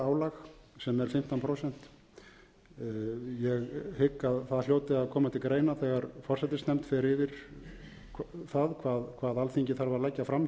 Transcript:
álag sem er fimmtán prósent ég hygg að það hljóti að koma til greina þegar forsætisnefnd fer yfir það hvað alþingi þarf að leggja fram